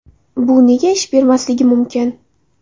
Bu nega ish bermasligi mumkin?